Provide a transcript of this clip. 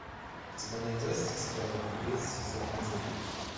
у тебя найдется сериал беглец сезон один